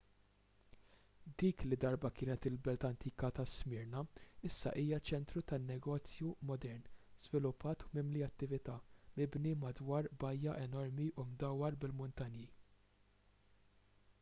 dik li darba kienet il-belt antika ta' smyrna issa hija ċentru tan-negozju modern żviluppat u mimli attività mibni madwar bajja enormi u mdawwar bil-muntanji